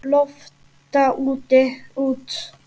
Lofta út.